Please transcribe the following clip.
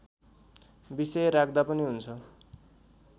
विषय राख्दा पनि हुन्छ